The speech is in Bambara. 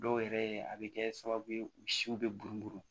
Dɔw yɛrɛ a bɛ kɛ sababu ye u siw bɛ burun